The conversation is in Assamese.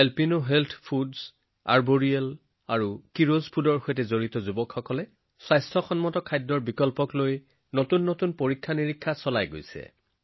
এ হেল্থ ফুডছ আৰ্বৰিয়েল আৰু কেৰছ ফুডছে যুৱকযুৱতীসকলৰ সৈতে অংশীদাৰিত্ব কৰি স্বাস্থ্যসন্মত খাদ্যৰ বিকল্প উদ্ভাৱন কৰিছে